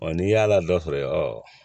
n'i y'a la dɔ sɔrɔ